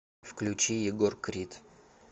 включи егор крид